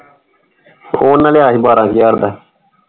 ਉਹ ਓਹਨੇ ਲਿਆ ਸੀ ਬਾਰਾਂ ਹਜ਼ਾਰ ਦਾ।